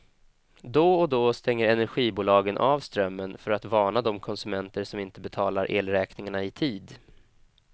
Då och då stänger energibolagen av strömmen för att varna de konsumenter som inte betalar elräkningarna i tid.